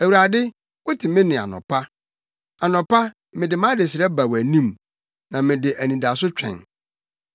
Awurade, wote me nne anɔpa; anɔpa, mede mʼadesrɛ ba wʼanim na mede anidaso twɛn.